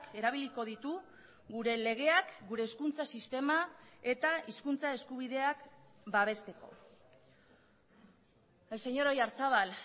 erabiliko ditu gure legeak gure hezkuntza sistema eta hizkuntza eskubideak babesteko el señor oyarzabal